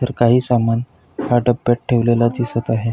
तर काही सामान हा डब्यात ठेवलेला दिसत आहे.